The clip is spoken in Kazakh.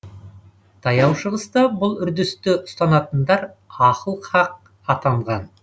таяу шығыста бұл үрдісті ұстанатындар ахыл хақ атанған